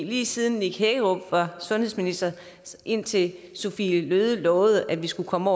lige siden nick hækkerup var sundhedsminister og indtil sophie løhde lovede at vi skulle komme